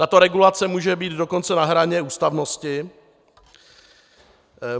Tato regulace může být dokonce na hraně ústavnosti.